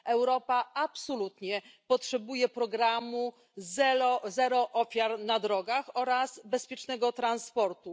Europa absolutnie potrzebuje programu Zero ofiar na drogach oraz bezpiecznego transportu.